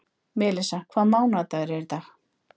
Melissa, hvaða mánaðardagur er í dag?